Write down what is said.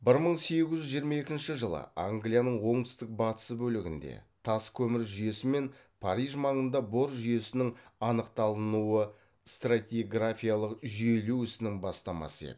бір мың сегіз жүз жиырма екінші жылы англияның оңтүстік батысы бөлігінде тас көмір жүйесі мен париж маңында бор жүйесінің анықталынуы стратиграфиялық жүйелеу ісінің бастамасы еді